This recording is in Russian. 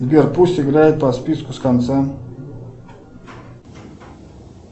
сбер пусть играет по списку с конца